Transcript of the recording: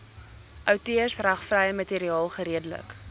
outeursregvrye materiaal geredelik